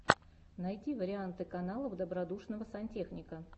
найди варианты каналов добродушного сантехника